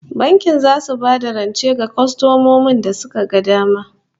The bank gives loans to their preferred customers